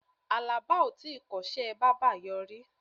Àlàbá o tíi kọ́ṣẹ́ bábà yọrí.